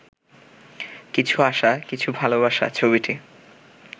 কিছু আশা কিছু ভালোবাসা ছবিটি